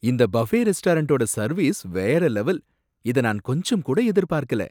இந்த பஃபே ரெஸ்டாரண்டோட சர்வீஸ் வேற லெவல், இத நான் கொஞ்சம் கூட எதிர்பார்க்கல